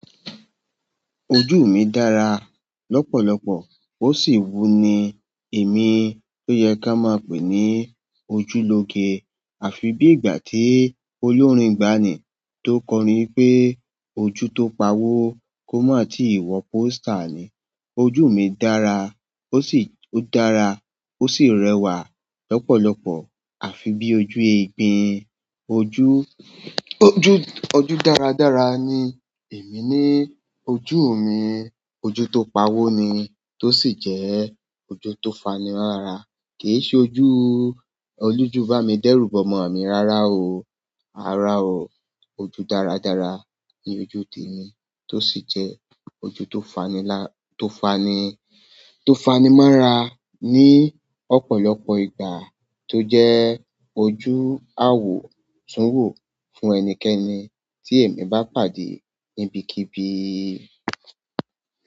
Ojú mi dára lọ́pọ̀lọpọ̀ ó sì wú ni èmi tó yẹ ká máa pè ní ojúlóge. Àfi bí ìgbà tí olórin gbá ní tó kọrin pé "Ojú tó pawó kò mọ̀ tí ìwọ pó stà" ni. Ojú mi dára ó sì, ó dára ó sì rẹwà lọ́pọ̀lọpọ̀. Àfi bí ojú eégbin, ojú, ojú, ojú dáradára ni èmi ní ojú mi. Ojú tó pawó ní to sì jẹ́ ojú tó fani móra kì í ṣe ojú olójúbámi dẹ́rùbọmọ mi rárá o. Rárá o. Ojú dáradára ni ojú tèmi tó sì jẹ ojú tó fani lá, tó fani, tó fani mọ́ra ní ọ̀pọ̀lọpọ̀ ìgbà tó jẹ́ ojú àwòtúnwò fún ẹnikẹ́ni tí èmi bá pàdé níbikíbi.